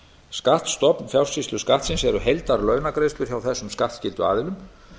skattstofn fjársýsluskattsins er heildarlaunagreiðslur hjá þessum skattskyldu aðilum